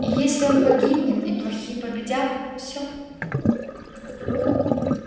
и если он погибнет и плохие победят всё